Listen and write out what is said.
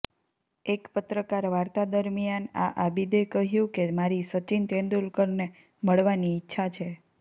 એક પત્રકાર વાર્તા દરમિયાન આ આબિદે કહ્યુ કે મારી સચિન તેંદુલકરને મળવાની ઈચ્છા છે